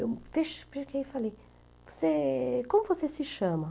Eu fiquei e falei, você, como você se chama?